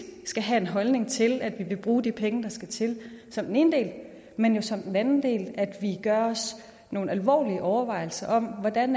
skal have en holdning til at vi vil bruge de penge der skal til som den ene del men jo som den anden del at vi gør os nogle alvorlige overvejelser om hvordan